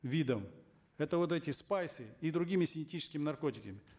видом это вот эти спайсы и другими синтетическими наркотиками